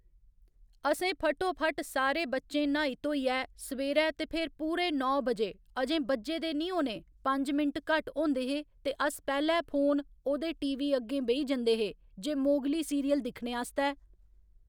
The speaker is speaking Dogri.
असें फटोफट्ट सारे बच्चें न्हाई धोइयै सवेरै ते फेर पूरे नौ बजे अजें बज्जे दे निं होने पंज मिंट घट्ट होंदे हे ते अस पैह्‌ले फोन ओह्दे टीवी अग्गें बेही जंदे हे जे मोगली सीरियल दिक्खने आस्तै